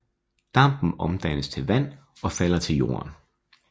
Dampen omdannes til vand og falder til jorden